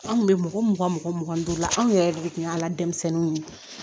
An kun bɛ mɔgɔ mugan mɔgɔ mugan ni duuru la anw yɛrɛ de kun y'a la denmisɛnninw ye